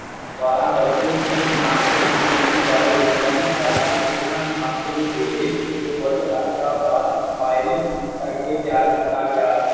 ਦਵਾਰਾ ਵਿਚ ਵੀ ਨਾਨਕ ਦੀ ਜਿੰਦਗੀ ਬਾਰੇ ਲਿਖਯਾ ਸੀ ਹਾਲ ਕੇ ਇਹਨਾਂ ਨੂੰ ਨਾਨਕ ਦੇ ਵੇਹਲੇ ਤੋਂ ਕੁਝ ਅਰਸਾ ਬਾਦ Combine ਕਰਕੇ ਤਿਆਰ ਕੀਤਾ ਗਿਆ